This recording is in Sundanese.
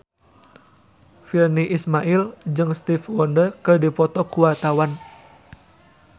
Virnie Ismail jeung Stevie Wonder keur dipoto ku wartawan